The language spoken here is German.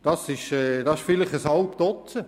Das sind vielleicht ein halbes Dutzend.